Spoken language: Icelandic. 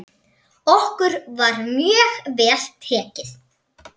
Okkur var mjög vel tekið.